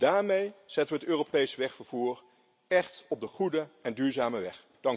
Daarmee zetten we het Europees wegvervoer echt op de goede en duurzame weg.